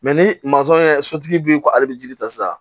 ni ye sotigi b'i ko ale bi jiri ta sisan